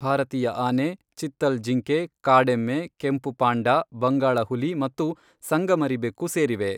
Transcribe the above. ಭಾರತೀಯ ಆನೆ, ಚಿತ್ತಲ್ ಜಿಂಕೆ, ಕಾಡೆಮ್ಮೆ, ಕೆಂಪು ಪಾಂಡಾ, ಬಂಗಾಳ ಹುಲಿ ಮತ್ತು ಸಂಗಮರಿ ಬೆಕ್ಕು ಸೇರಿವೆ.